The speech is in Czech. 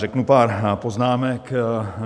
Řeknu pár poznámek.